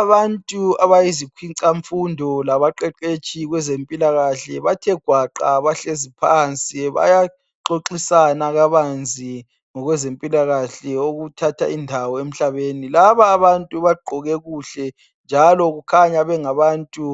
Abantu abayizikhwica mfundo labaqeqetshi kwezempila kahle, bathegwaqa bahleziphansi, bayaxoxisana kabanzi ngokwezempilakahle okuthatha indawo emhlabeni. Lababantu bagqoke kuhle, njalo kukhanya bengabantu